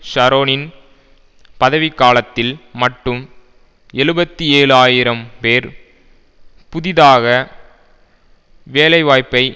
ஷரோனின் பதவிக்காலத்தில் மட்டும் எழுபத்து ஏழு ஆயிரம் பேர் புதிதாக வேலைவாய்பை